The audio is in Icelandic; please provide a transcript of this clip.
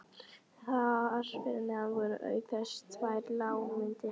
Þar fyrir neðan voru auk þess tvær lágmyndir